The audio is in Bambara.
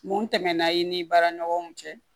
Mun tɛmɛnan i ni baara ɲɔgɔnw cɛ